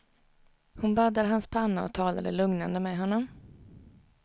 Hon baddade hans panna och talade lugnande med honom.